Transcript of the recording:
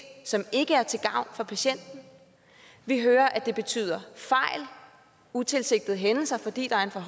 som ikke er til gavn for patienten vi hører at det betyder fejl utilsigtede hændelser fordi der er for